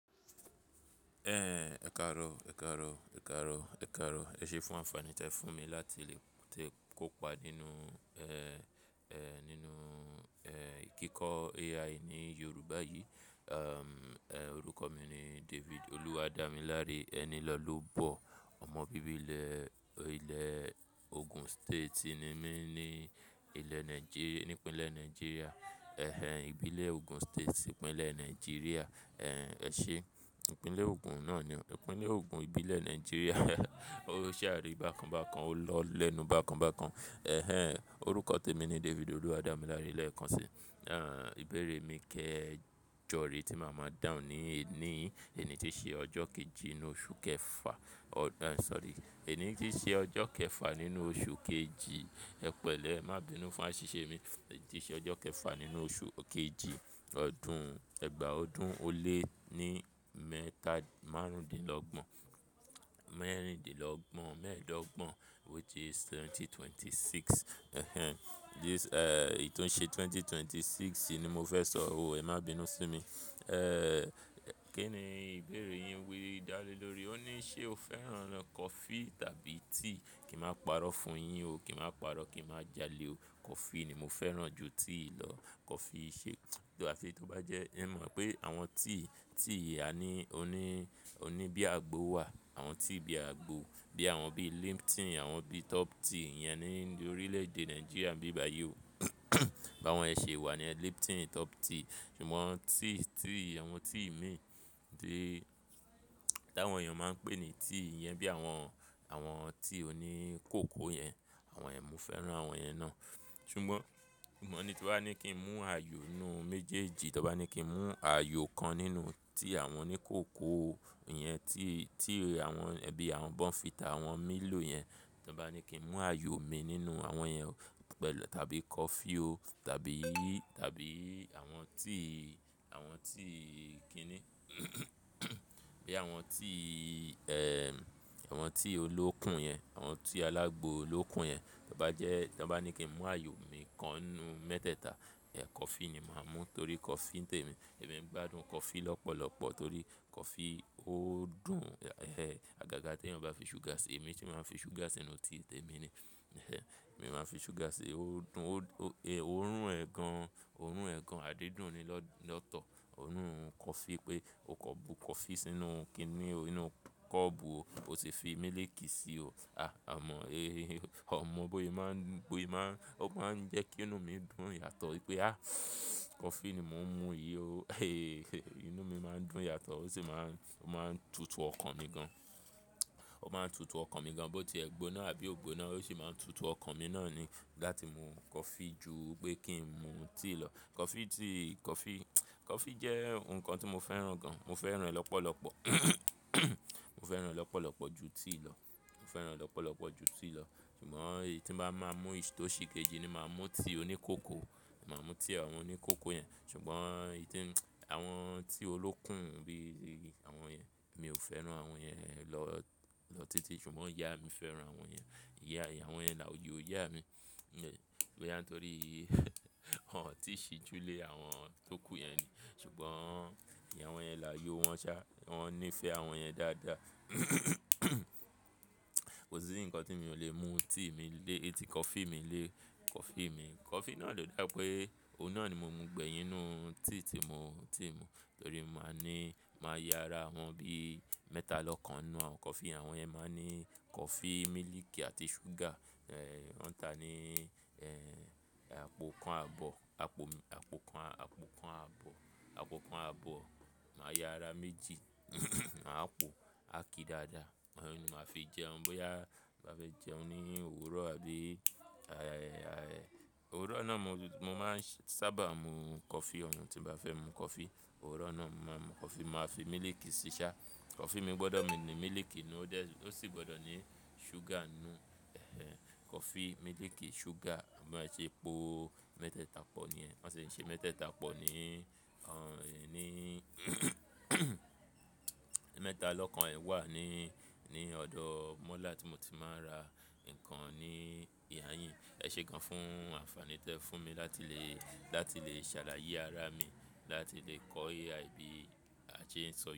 Ẹ̀, ẹ kaaro, ẹ kaaro, ẹ kaaro, ẹ kaaro. Ẹṣe fún àǹfààní tí ẹ fún mi láti lè tẹ̀ kópa nínú, ẹ́, ẹ́, nínú, ẹ́, kíkọ́ AI ní Yorùbá yìí. Ẹ̀, orúkọ mi ni David Oluwadamilare. Enílọlọ́bọ̀. Ọmọ bíbí ilẹ̀, ilẹ̀ Ogun State ni mí ní ilẹ̀ Nàìjíríà, ní ìpínlẹ̀ Nàìjíríà. Ẹ̀hẹn, ìbílẹ̀ Ogun State, ìpínlẹ̀ Nàìjíríà. Ẹ̀, ẹṣẹ́, ìpínlẹ̀ Ogun náà ni o. Ìpínlẹ̀ Ogun, ìbílẹ̀ Nàìjíríà. Ó ṣàrí bákan bákan, ó lọ́ lẹ́nu bákan bákan. Ẹ̀hẹn, orúkọ tèmi ni David Oluwadamilare lẹ́ẹ̀kan si. Ẹ̀, ìbéèrè mí kẹjọ rèé tí màá máa dáhùn ni èní yìí, èní tí ṣe ọjọ́ kejì nínú oṣù kẹfà. Ọ̀, ẹ́, sorry. Èní tí ṣe ọjọ́ kẹfà nínú oṣù kejì. Ẹ pẹ̀lẹ́, ẹ má bi'nu fún àṣìṣe mi. Tí ṣe ọjọ́ kẹfà nínú oṣù kejì ọdún, ẹgbàá ọdún ó lé ní mẹ́ta márùndínlọ́gbọ̀n, mẹ́rìndínlọ́gbọ̀n, mẹ́ẹ̀dọ́gbọ̀n, which is twenty twenty-six. Ẹ̀hẹn, this, ẹ́, èyí tó n ṣe ẹgbẹ̀rún méjì ó lé mẹ́rìndínlọ́gbọ̀n yìí ni mo fẹ́ sọ, o, ẹ má bi'nu sí mi. Ẹ́, kí ni ìbéèrè yín wí dá lé lórí. Ó ní ṣe o fẹ́ràn coffee tàbí tea? Kí máa parọ́ fún yín o. Kí máa parọ́, kí máa jalè o. Coffee ni mo fẹ́ràn ju tea lọ. Coffee ṣe-- tó, àfi tí ó bá jẹ́ ẹ mọ̀ pé àwọn tea, tea a ní, ó ní, ó ní bí àgbo wà. Àwọn tea bí àgbo, bí àwọn bí Lipton, àwọn bí Top Tea, ìyẹn ni ní orílẹ̀ èdè Nàìjíríà níbí bàyìí o. Ba àwọn ẹ ṣe wà ni ẹ́, Lipton, Top Tea. Ṣùgbọ́n tea, tea, àwọn tea mi tí àwọn èèyàn máa ń pè ní tea, ìyẹn bí àwọn, àwọn tea òní kòkó yẹn. Àwọn yẹn, mo fẹ́ràn àwọn ìyẹn náà. Ṣùgbọ́n, ìmọ̀ ní tí bá ní kí n mú ayò inú méjèèjì, tí wọn bá ní kí n mú ayò kan nínú tí àwọn ní kòkó iyẹn, tea, tea àwọn ẹbí àwọn Bonfita, àwọn Milo yẹn. Tí wọn bá ní kí n mú ayò mi nínú àwọn yẹn o pẹ̀lú tàbí coffee o tàbí, tàbí àwọn tea, àwọn tea kí ni. Bí àwọn tea, ẹ́, àwọn tea olókùn yẹn, àwọn tea alágbo olókùn yẹn. Tó bá jẹ́, ti wọn bá ní kí n mú ayò mi kan nínú mẹ́tẹ́ẹ̀ta, ẹ́ coffee ni màá mú torí coffee tèmi. Ẹ̀mi ń gbádùn coffee lọ́pọ̀lọ́pọ̀ torí coffee ó dùn. Ẹ̀hẹn, àgàgà tí ẹ́ bá fi ṣúgà ṣe. Èmi tí màá fi ṣúgà ṣe nínú tea tèmi ni. Ẹ̀hẹn, màá fi ṣúgà si. Ó dùn ó, ó, e, òórùn ẹ̀ gan. Òórùn ẹ̀ gan, àdídùn ni lọ́, lọ́tọ̀. Òórùn coffee pé o kọ́ bu coffee sínú kí ni o, sínú kọ́ọ̀bù o, o sì fi mílìkì sí i o. A, a mọ̀, e, a mọ̀ bóye ì máa ń, bóye ì máa ń, ó máa ń jẹ́ kí inú mi dùn yàtọ̀ wípé a, coffee ni mò ń mú yìí o. E, inú mi máa ń dùn yàtọ̀, ó sì máa ń, ó máa ń tutù ọkàn mi gan. Ó máa ń tutù ọkàn mi gan, bó ti ẹ gbóná àbí ò gbóná, ó sì máa ń tutù ọkàn mi náà ni láti mú coffee ju pé kí n mú tea lọ. Coffee ti, coffee, coffee jẹ́ nǹkan tí mo fẹ́ràn gan. Mo fẹ́ràn rẹ̀ lọ́pọ̀lọ́pọ̀. Mo fẹ́ràn rẹ̀ lọ́pọ̀lọ́pọ̀ ju tea lọ. Mo fẹ́ràn rẹ̀ lọ́pọ̀lọ́pọ̀ ju tea lọ. Ṣùgbọ́n èyí tí bá máa mú ìṣí tó sì kejì ni màá mú tea òní kòkó. Màá mú tea àwọn òní kòkó yẹn. Ṣùgbọ́n ìdí tí, àwọn tea olókùn bí i tí àwọn yẹn, mi ò fẹ́ràn àwọn yẹn lọ, lọ títí. Ṣùgbọ́n ìyá mi fẹ́ràn àwọn yẹn. Ìyá, ìyá àwọn yẹn láàyò Ìyá mi, e, bẹ́ẹ̀ ni á torí wọ́n ò tíì ṣi ju lé àwọn tó kù yẹn ni. Ṣùgbọ́n ìyẹn làwọn íyẹn làyò wọ́n ṣá. Wọ́n nífẹ̀ẹ́ àwọn yẹn dáadáa. Kò sí nǹkan tí mi ò lè mú tea mi lé, coffee mi lé coffee mi. Coffee náà ló dà pé òun náà ni mo mú gbẹ̀yìn nínú tea tí mo, tea mi torí mo máa ní, màá ya ara wọn bí mẹ́ta lọ́kàn nínú àwọn coffee. Àwọn ẹ máa ní coffee, mílìkì àti ṣúgà. Ẹ̀, wọ́n ń ta ní, ẹ́, àpò kan àbọ̀, àpò, àpò kan, àpò kan àbọ̀, àpò kan àbọ̀. Màá ya ara méjì, màá po, à ki dáadáa. Wọ́n ni màá fi jẹun bóyá bá fẹ́ jẹun ní òwúrọ̀ àbí, a, a, a, òwúrọ̀ náà mo, mo máa ń sábà mú coffee ọ̀hún tí bá fẹ́ mú coffee. Òwúrọ̀ náà mo máa mú coffee, màá fi mílìkì sí i ṣá. Coffee mi gbọ́dọ̀ ní mílìkì nínú rẹ̀, ó sì gbọ́dọ̀ ní ṣúgà nínú. Ẹ̀hẹn, coffee, mílìkì, ṣúgà, a má ṣe po mẹ́tẹ́ẹ̀ta pọ̀ ni ẹ́. A má ṣe ṣe mẹ́tẹ́ẹ̀ta pọ̀ ni. Ẹ̀, ní, mẹ́ta lọ́kàn ẹ̀ wà ní, ní ọ̀dọ̀ mọ́là tí mo ti máa ń ra nǹkan ní ìhà yín. Ẹ ṣé gan fún àǹfààní tí ẹ fún mi láti lè, láti lè ṣàlàyé ara mi, láti lè kọ́ AI bí a ṣe ń sọ̀rọ̀.